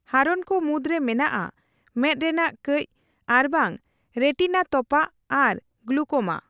ᱦᱟᱨᱚᱱ ᱠᱚ ᱢᱩᱫᱽᱨᱮ ᱢᱮᱱᱟᱜᱼᱟ ᱢᱮᱫ ᱨᱮᱱᱟᱜ ᱠᱟᱸᱪ ᱟᱨᱵᱟᱝ ᱨᱮᱴᱤᱱᱟ ᱛᱚᱯᱟᱜ ᱟᱨ ᱜᱞᱚᱠᱳᱢᱟ ᱾